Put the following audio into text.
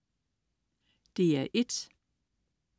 DR1: